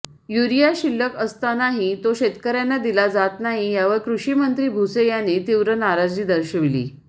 urea शिल्लक असतानाही तो शेतकऱ्यांना दिला जात नाही यावर कृषिमंत्री भुसे यांनी तीव्र नाराजी दर्शविली